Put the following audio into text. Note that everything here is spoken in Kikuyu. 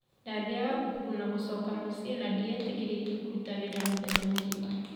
Ndathiaga thukuru na gũcoka mũciĩ na ndĩetĩkiritie kũruta wĩ ra mũthenya mũgima